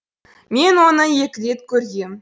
мен оны екі рет көргем